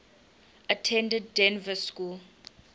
attended dynevor school